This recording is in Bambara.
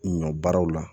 Ɲɔ baaraw la